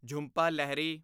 Jhumpa Lahiri